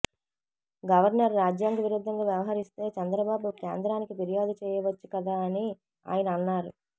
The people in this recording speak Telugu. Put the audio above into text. గవర్నర్ రాజ్యాంగ విరుద్ధంగా వ్యవహిరిస్తే చంద్రబాబు కేంద్రానికి ఫిర్యాదు చేయవచ్చు కదా అని ఆయన అన్నారు